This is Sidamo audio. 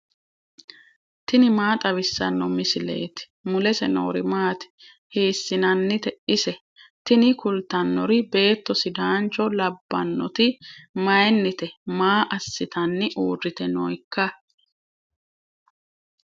tini maa xawissanno misileeti ? mulese noori maati ? hiissinannite ise ? tini kultannori beetto sidanccho labbannoti mayinnite maa assitanni uurite nooikka